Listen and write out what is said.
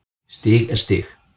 Stig er stig.